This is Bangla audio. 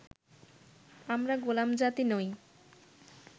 আমরা গোলামজাতি নই